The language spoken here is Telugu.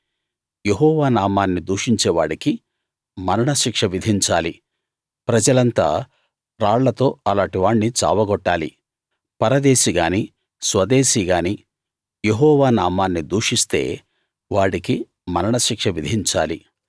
యెహోవా నామాన్ని దూషించేవాడికి మరణశిక్ష విధించాలి ప్రజలంతా రాళ్లతో అలాటి వాణ్ణి చావ గొట్టాలి పరదేశిగాని స్వదేశిగాని యెహోవా నామాన్ని దూషిస్తే వాడికి మరణశిక్ష విధించాలి